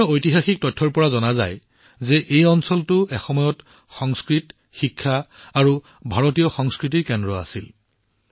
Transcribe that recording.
বিভিন্ন ঐতিহাসিক দস্তাবেজৰ পৰা গম পোৱা যায় যে এই অঞ্চলটো এসময়ত সংস্কৃত শিক্ষা আৰু ভাৰতীয় সংস্কৃতিৰ কেন্দ্ৰ আছিল